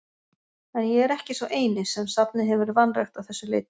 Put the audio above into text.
En ég er ekki sá eini, sem safnið hefur vanrækt að þessu leyti.